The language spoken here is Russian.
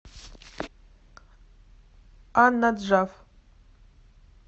ан наджаф